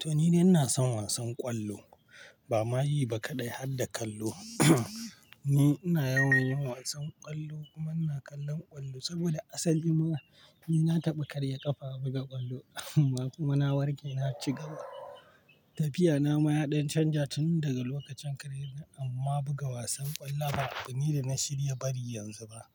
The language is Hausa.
To ni ne ina son wasan ƙwallo. Ba ma yi ba kaɗai hadda kallo, ni ina yawan yin wasan ƙwallo kuma ina kallon ƙwallo saboda asali ma ni na taɓa karya ƙafa buga ƙwallo kuma na warke na ci gaba. Tafiya na ma ya ɗan canja tun daga lokacin kariyar nan amma buga wasan ƙwallo ba abu ne da na shirya bari yanzu ba.